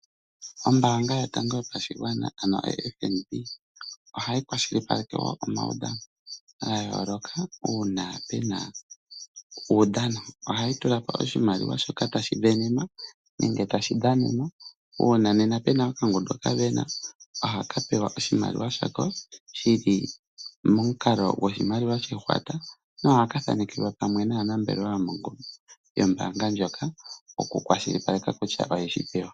Ombaanga yotango yopashigwana ano oFNB ohayi kwashilipaleke wo omaudhano ga yooloka uuna pena uudhano. Ohayi tula po oshimaliwa shoka tashi sindanwa nenge tashi dhanenwa. Uuna pena okangundu ka sindana ohaka pewa oshimaliwa shako shili momukalo goshimaliwa shehwata, nohaka thanekelwa pamwe naanambelewa yombaanga ndjoka, okukwashilipaleka kutya oye yi pewa.